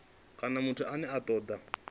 kana muthu ane a toda